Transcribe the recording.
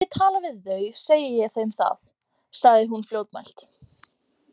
Ef ég tala við þau segi ég þeim það, sagði hún fljótmælt.